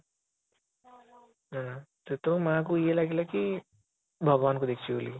ସେତେବେଳେ ମା ଙ୍କୁ ଇଏ ଲାଗିଲା କି ଭଗବାନ ଙ୍କୁ ଦେଖିଛି ବୋଲି କି